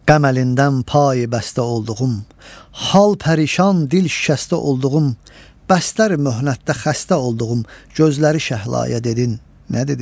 Qəm əlindən payi bəstə olduğum, hal pərişan, dil şikəstə olduğum, bəstlər möhnətdə xəstə olduğum gözləri şəhlaya dedin nə dedi?